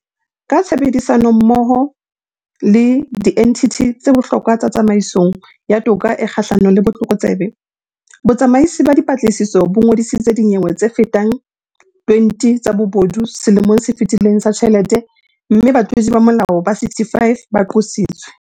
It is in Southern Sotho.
Ka tshebedisanommoho le dienthithi tse bohlokwa tsa tsamaisong ya toka e kgahlano le botlokotsebe, Botsamaisi ba Dipatlisiso bo ngodisitse dinyewe tsefetang 20 tsa bobodu selemong se fetileng sa ditjhelete mme batlodi ba molao ba 65 ba qositswe.